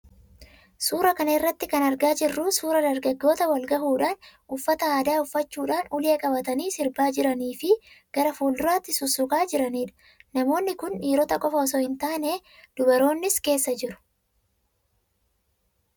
Suuraa kana irraa kan argaa jirru suuraa dargaggoota wal gahuudhaan uffata aadaa uffachuudhaan ulee qabatanii sirbaa jiranii fi gara fuulduraatti sussukaa jiranidha. Namootni kun dhiirota qofaa osoo hin taane dubaroonnis keessa jiru.